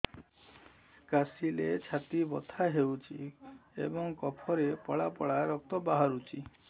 କାଶିଲେ ଛାତି ବଥା ହେଉଛି ଏବଂ କଫରେ ପଳା ପଳା ରକ୍ତ ବାହାରୁଚି